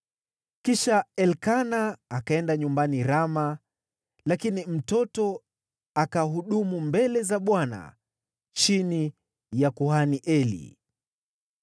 Kisha Elikana akaenda nyumbani Rama, lakini mtoto akahudumu mbele za Bwana chini ya kuhani Eli.